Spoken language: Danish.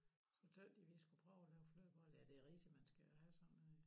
Så tøs de vi skulle prøve at lave flødeboller ja det rigtig man skal have sådan en